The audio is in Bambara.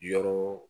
Yɔrɔ